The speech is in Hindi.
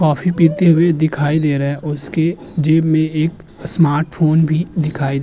कॉफी पीते हुए दिखाई दे रहे। उसके जेब में एक स्मार्ट फोन भी दिखाई --